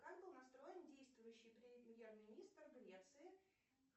как был настроен действующий премьер министр греции